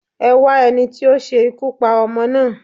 Ẹwá ẹni ti o se ikú pa ọmọ naa